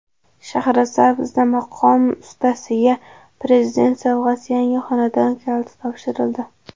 Shahrisabzda maqom ustasiga Prezident sovg‘asi yangi xonadon kaliti topshirildi.